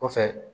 Kɔfɛ